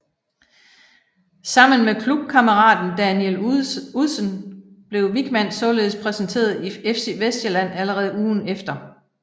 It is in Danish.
Sammen med klubkammeraten Daniel Udsen blev Wichmann således præsenteret i FC Vestsjælland allerede ugen efter